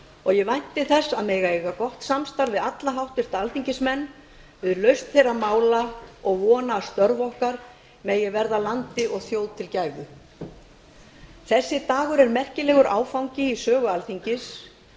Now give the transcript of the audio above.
og ég vænti þess að mega eiga gott samstarf við alla háttvirta alþingismenn við lausn þeirra mála og vona að störf okkar megi verða landi og þjóð til gæfu þessi dagur er merkur áfangi í sögu alþingis